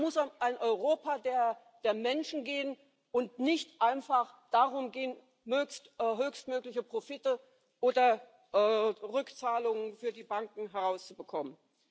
Es muss auch ein Europa der der Menschen geben und nicht einfach darum gehen, höchstmögliche Profite oder Rückzahlungen für die Banken herauszubekommen.